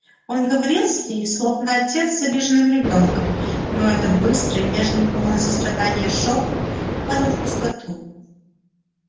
он говорил с ней словно отец с обиженным ребёнком но этот быстрый нежный полный сострадания шёпот падал в пустоту